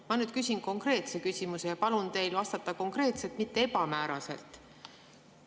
Ma küsin konkreetse küsimuse ja palun teil vastata konkreetselt, mitte ebamääraselt.